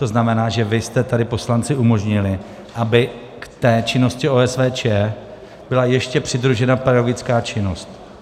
To znamená, že vy jste tady, poslanci, umožnili, aby k té činnosti OSVČ byla ještě přidružena pedagogická činnost.